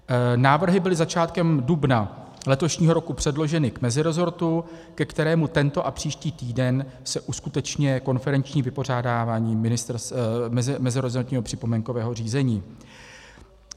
Návrhy byly začátkem dubna letošního roku předloženy k mezirezortu, ke kterému tento a příští týden se uskuteční konferenční vypořádávání mezirezortního připomínkového řízení.